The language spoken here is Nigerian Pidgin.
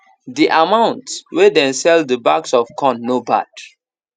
the amount wey dem sell the bags of corn no bad